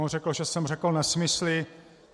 On řekl, že jsem řekl nesmysly.